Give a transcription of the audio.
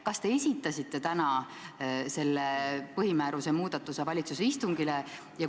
Kas te esitasite täna selle põhimääruse muudatuse valitsuse istungile?